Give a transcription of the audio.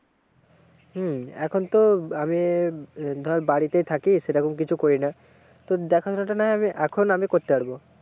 হম এখন তো আমি ধর বাড়িতেই থাকি সেরকম কিছু করিনা, তো দেখাশোনাটা না হয় আমি এখন আমি করতে পারবো।